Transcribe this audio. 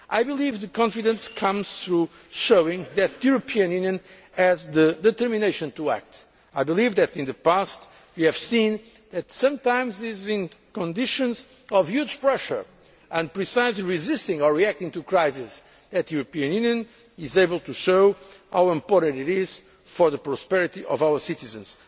institutions. I believe that confidence comes through showing that the European Union has the determination to act. I believe that in the past we have seen that, sometimes, it is under conditions of huge pressure and precisely when we are resisting or reacting to crises that the European Union is able to show how important it is for the prosperity